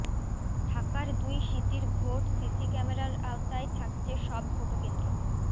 ঢাকার দুই সিটির ভোট সিসি ক্যামেরার আওতায় থাকছে সব ভোটকেন্দ্র